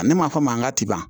Ne ma fɔ a mankan ti ban